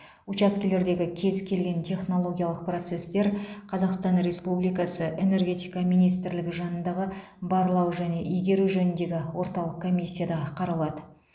учаскелердегі кез келген технологиялық процестер қазақстан республикасы энергетика министрлігі жанындағы барлау және игеру жөніндегі орталық комиссияда қаралады